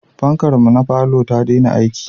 Fankar mu na falo ya dena aiki